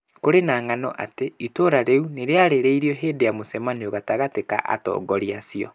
Kũrĩ na ng'ano atĩ iturwa rĩu nĩ rĩarĩrĩirio hĩndĩ ya mũcemanio gatagatĩ ka atongoria acio.